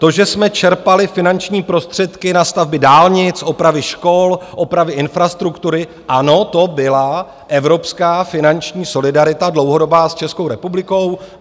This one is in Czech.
To, že jsme čerpali finanční prostředky na stavby dálnic, opravy škol, opravy infrastruktury, ano, to byla evropská finanční solidarita dlouhodobá s Českou republikou.